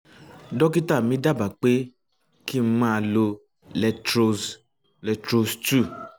dókítà mi dábàá pé kí n um máa lo letroz letroz two